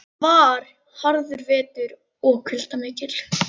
Þetta var harður vetur og kuldar miklir.